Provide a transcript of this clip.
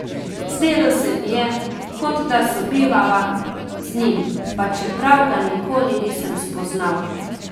Zdelo se mi je, kot da sobivava z njim, pa čeprav ga nikoli nisem spoznal.